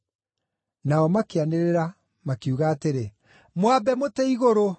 Nao makĩanĩrĩra, makiuga atĩrĩ, “Mwambe mũtĩ igũrũ!”